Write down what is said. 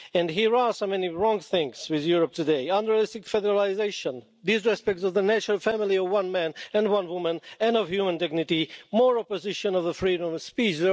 There are so many wrong things with Europe today unrealistic federalisation, disrespect of the natural family of one man and one woman and of human dignity, more opposition to the freedom of speech.